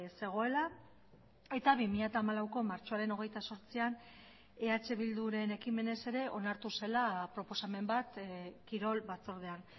zegoela eta bi mila hamalauko martxoaren hogeita zortzian eh bilduren ekimenez ere onartu zela proposamen bat kirol batzordean